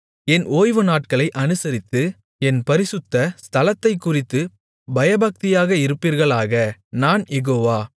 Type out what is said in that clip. என் ஓய்வுநாட்களை அனுசரித்து என் பரிசுத்த ஸ்தலத்தைக்குறித்துப் பயபக்தியாக இருப்பீர்களாக நான் யெகோவா